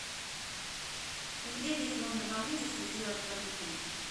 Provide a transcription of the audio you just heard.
где здесь можно поблизости сделать барбекю